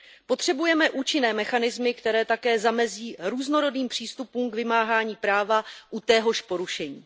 Potřebujeme účinné mechanismy, které také zamezí různorodým přístupům k vymáhání práva u téhož porušení.